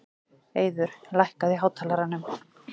Eiður, lækkaðu í hátalaranum.